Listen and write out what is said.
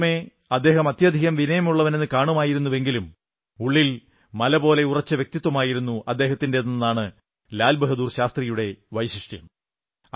പുറമേ അദ്ദേഹം അത്യധികം വിനയമുള്ളവനെന്നു കാണുമായിരുന്നെങ്കിലും ഉള്ളിൽ മലപോലെ ഉറച്ച വ്യക്തിത്വമായിരുന്നു അദ്ദേഹത്തിന്റേതെന്നതാണ് ലാൽ ബാഹാദുർ ശാസ്ത്രിജിയുടെ വൈശിഷ്ട്യം